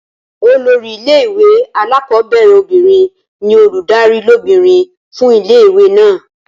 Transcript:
Olórí ilé ìwé alákọ̀ọ́bẹ̀rẹ̀ obìnrin ní olùdarí lóbìnrin fún ilé ìwé náà